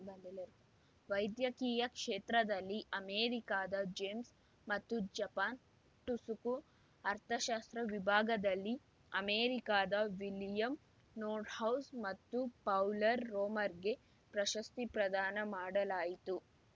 ವೈದ್ಯಕೀಯ ಕ್ಷೇತ್ರದಲ್ಲಿ ಅಮೆರಿಕದ ಜೇಮ್ಸ್‌ ಮತ್ತು ಜಪಾನ್‌ ಟುಸುಕು ಅರ್ಥಶಾಸ್ತ್ರ ವಿಭಾಗದಲ್ಲಿ ಅಮೆರಿಕದ ವಿಲಿಯಂ ನೋರ್ಡ್‌ಹೌಸ್‌ ಮತ್ತು ಪೌಲರ್‌ ರೋಮರ್‌ಗೆ ಪ್ರಶಸ್ತಿ ಪ್ರದಾನ ಮಾಡಲಾಯಿತು